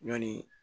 Ɲɔni